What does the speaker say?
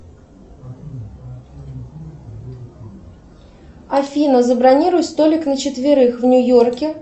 афина забронируй столик на четверых в нью йорке